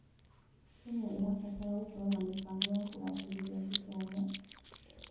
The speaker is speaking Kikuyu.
Kenya ĩrabatara gũkorwo na mĩbamgo ya kũgacĩrithia gĩthomo.